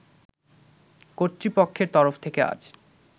কর্তৃপক্ষের তরফ থেকে আজ